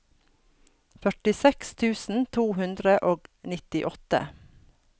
førtiseks tusen to hundre og nittiåtte